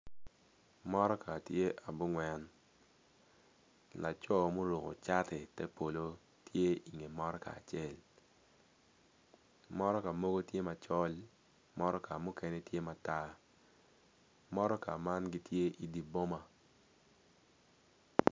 Motoka tye abongwen laco muruku cati te polo tye iwi motoka acel motoka mogo ti macol motoka mukene ti matar motoka man gitye iwi boma